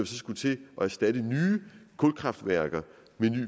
skulle til at erstatte nye kulkraftværker med